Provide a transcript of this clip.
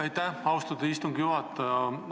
Aitäh, austatud istungi juhataja!